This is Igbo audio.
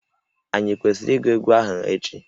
Ànyị kwesịrị ịgụ egwu ahụ echi?